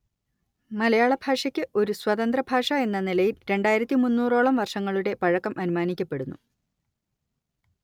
മലയാളഭാഷയ്ക്ക് ഒരു സ്വതന്ത്രഭാഷഎന്ന നിലയിൽ രണ്ടായിരത്തി ഓളം വർഷങ്ങളുടെ പഴക്കം അനുമാനിക്കപ്പെടുന്നു